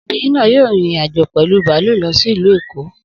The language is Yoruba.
Obìnrin náà yóò rin ìrìn-àjò pẹ̀lu bààlù lọ sí Ìlu èkó